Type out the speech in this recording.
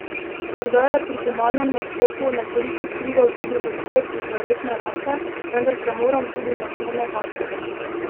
Morda je pri finalnem nastopu nekoliko vplival tudi odhod z zaletne rampe, vendar se moram tudi na to navaditi.